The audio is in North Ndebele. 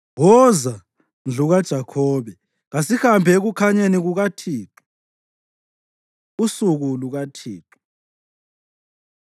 Woza, ndlu kaJakhobe, kasihambe ekukhanyeni kukaThixo. Usuku LukaThixo